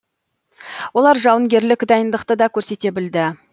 олар жауынгерлік дайындықты да көрсете білді